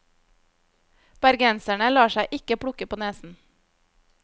Bergenserne lar seg ikke plukke på nesen.